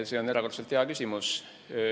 See on erakordselt hea küsimus.